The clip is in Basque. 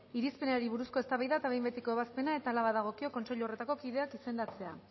irizpenari buruzko eztabaida eta behin betiko ebazpena eta hala badagokio kontseilu horretako kideak izendatzea